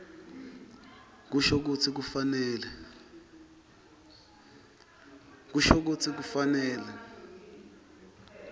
kusho kutsi kufanele